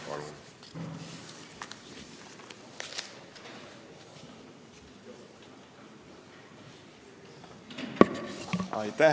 Palun!